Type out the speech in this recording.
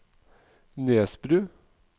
Nesbru